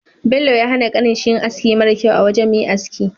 Bello ya hana kanin shi yin aski mara kyau a wajan Me aski